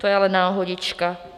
To je ale náhodička!